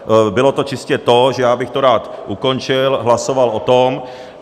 Bylo to čistě to, že já bych to rád ukončil, hlasoval o tom.